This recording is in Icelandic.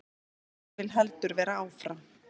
Ég vil heldur vera áfram.